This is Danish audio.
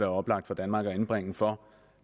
oplagt for danmark at indbringe for